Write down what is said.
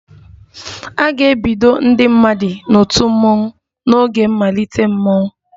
A ga-ebido ndị mmadụ n'otu mmọnwụ n'oge mmalite mmọnwụ